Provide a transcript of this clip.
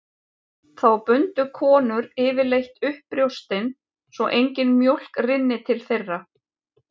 Þá bundu konur yfirleitt upp brjóstin svo engin mjólk rynni til þeirra.